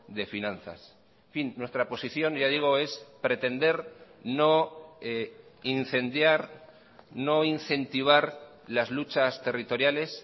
de finanzas en fin nuestra posición ya digo es pretender no incendiar no incentivar las luchas territoriales